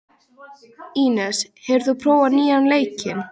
Ínes, hefur þú prófað nýja leikinn?